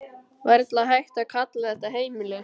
Varla hægt að kalla þetta heimili.